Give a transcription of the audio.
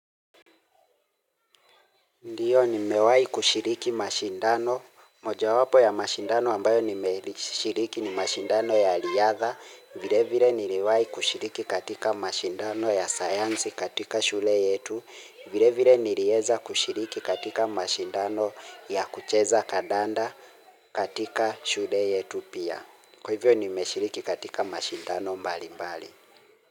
Ndiyo nimewai kushiriki mashindano. Moja wapo ya mashindano ambayo nime ishiriki ni mashindano ya riadha. Vile vile niliwai kushiriki katika mashindano ya sayansi katika shule yetu. Vile vile nilieza kushiriki katika mashindano ya kucheza kandanda katika shule yetu pia. Kwa hivyo nime shiriki katika mashindano mbali mbali.